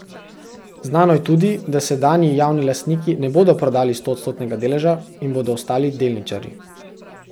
Znano je tudi, da sedanji javni lastniki ne bodo prodali stoodstotnega deleža in bodo ostali delničarji.